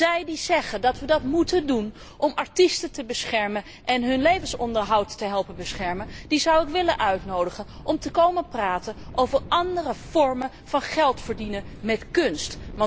Zij die zeggen dat wij dat moeten doen om artiesten te beschermen en hun levensonderhoud te helpen beschermen, zou ik willen uitnodigen om te komen praten over andere vormen van geld verdienen met kunst.